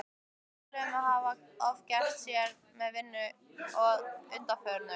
Talið að hún hafi ofgert sér með vinnu að undanförnu.